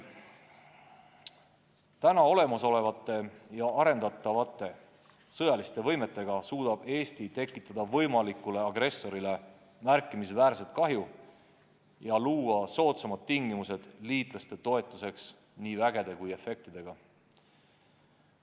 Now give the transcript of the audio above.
Praegu olemasolevate ja arendatavate sõjaliste võimetega suudab Eesti tekitada võimalikule agressorile märkimisväärset kahju ja luua soodsamad tingimused liitlaste toetuseks nii vägede kui ka efektidega.